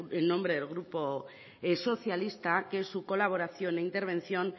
en nombre del grupo socialista que es su colaboración e intervención